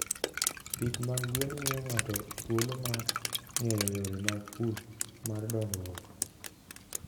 Pith mag gwen miyo ng'ato thuolo mar ng'eyo yore mag pur mar dongruok.